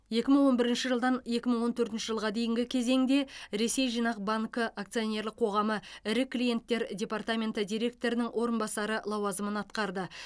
екі мың он бірінші жылдан екі мың он төртінші жылға дейінгі кезеңде ресей жинақ банкі акционерлік қоғамы ірі клиенттер департаменті директорының орынбасары лауазымын атқарды